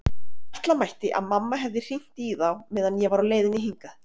Ætla mætti að mamma hefði hringt í þá meðan ég var á leiðinni hingað.